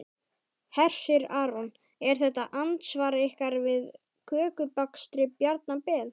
Hersir Aron: Er þetta andsvar ykkar við kökubakstri Bjarna Ben?